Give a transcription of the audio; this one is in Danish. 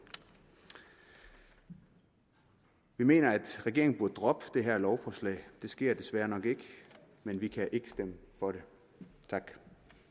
vi mener at regeringen burde droppe det her lovforslag det sker desværre nok ikke men vi kan ikke stemme for det tak